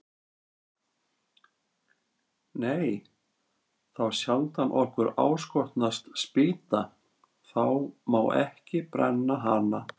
Nei, þá sjaldan okkur áskotnast spýta, þá má ekki brenna hana.